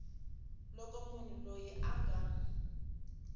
loko munhu loyi a nga